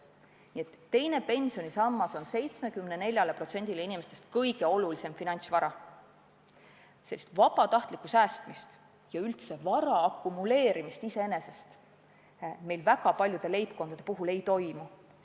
Nii et teine pensionisammas on 74%-le inimestest kõige olulisem finantsvara, sest vabatahtlikku säästmist ja üldse vara akumuleerimist iseenesest meil väga paljude leibkondade puhul ei toimu.